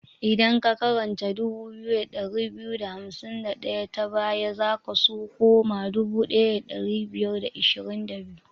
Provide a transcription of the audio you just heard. Idan ka karanta 2251 ta baya, za ka su koma 1522.